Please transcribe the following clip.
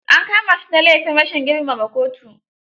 An kama shi da laifin rashin girmama kotu.